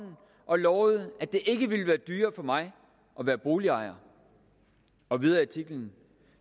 og lovede at det ikke ville være dyrere for mig at være boligejer og videre i artiklen